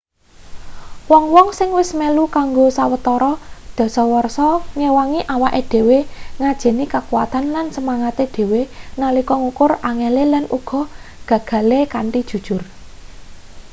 wong-wong sing wis melu kanggo sawetara dasawarsa ngewangi awake dhewe ngajeni kakuwatan lan semangate dhewe nalika ngukur angele lan uga gagale kanthi jujur